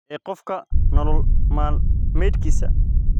ee qofka nolol maalmeedkiisa.